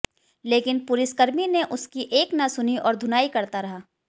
लेकिन पुलिसकर्मी ने उसकी एक न सुनी और धुनाई करता रहा